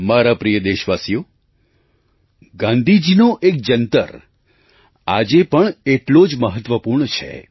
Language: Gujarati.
મારા પ્રિય દેશવાસીઓ ગાંધીજીનો એક જંતર આજે પણ એટલો જ મહત્ત્વપૂર્ણ છે